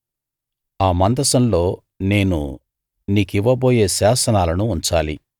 ఆ మందసంలో నేను నీకివ్వబోయే శాసనాలను ఉంచాలి